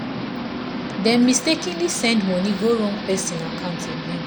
dem mistakenly send money go wrong person account again.